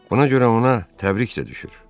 Buna görə ona təbrik də düşür.